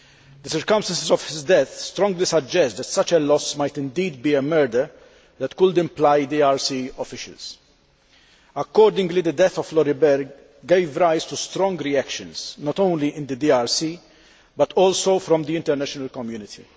The circumstances of his death strongly suggest that such a loss might indeed be a murder that could implicate DRC officials. Accordingly, the death of Floribert gave rise to strong reactions not only in the DRC but also from the international community.